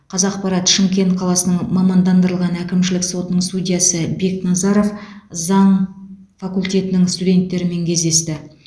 қазақпарат шымкент қаласының мамандандырылған әкімшілік сотының судьясы бекназаров заң факультетінің студенттерімен кездесті